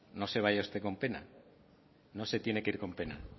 no se vaya usted con pena no se tiene que ir con pena